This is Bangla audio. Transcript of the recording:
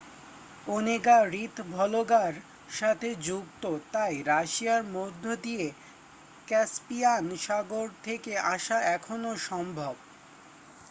ওনেগা হ্রদ ভলগা-র সাথেও যুক্ত তাই রাশিয়ার মধ্যে দিয়ে ক্যাসপিয়ান সাগর থেকে আসা এখনও সম্ভব